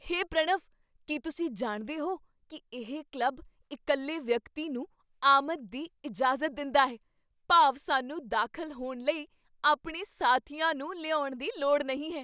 ਹੇ ਪ੍ਰਣਵ, ਕੀ ਤੁਸੀਂ ਜਾਣਦੇ ਹੋ ਕੀ ਇਹ ਕਲੱਬ ਇਕੱਲੇ ਵਿਅਕਤੀ ਨੂੰ ਆਮਦ ਦੀ ਇਜਾਜ਼ਤ ਦਿੰਦਾ ਹੈ? ਭਾਵ ਸਾਨੂੰ ਦਾਖ਼ਲ ਹੋਣ ਲਈ ਆਪਣੇ ਸਾਥੀਆਂ ਨੂੰ ਲਿਆਉਣ ਦੀ ਲੋੜ ਨਹੀਂ ਹੈ!